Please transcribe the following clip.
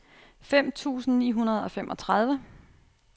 fem tusind ni hundrede og femogtredive